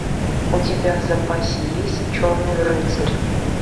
у тебя в запасе есть черный рыцарь